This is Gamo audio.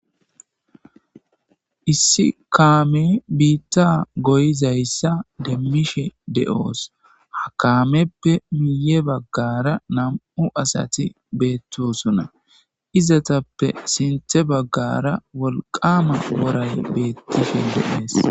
issi kaame biitta goyizayssa demmishe de'oos ha kaameppe miye baggara nam'u asati beettosuna izatappe sinthe baggara wolqama woray beettishin de'ees